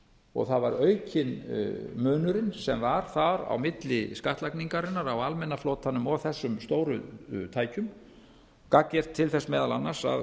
og það var aukinn munurinn sem var þar á milli skattlagningarinnar á almenna flotanum og þessum stóru tækjum gagngert til þess meðal annars að